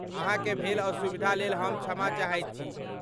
अहाँके भेल असुविधाक लेल हम क्षमा चाहैत छी।